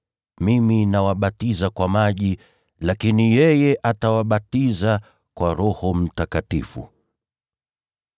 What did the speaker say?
Mimi nawabatiza kwa maji, lakini yeye atawabatiza kwa Roho Mtakatifu.”